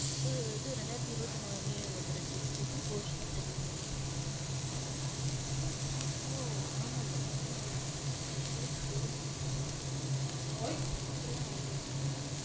இது இது ரெண்டாயிரத்தி இருபத்தி மூணு new year வந்துருச்சு. எப்படி போச்சுனே தெரியல. ஓ ஆமான்ல. ஆமா எப்டிலாம் ஓடுதொ தெரியல.